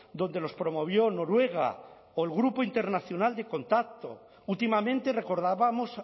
donde los promovió noruega o el grupo internacional de contacto últimamente recordábamos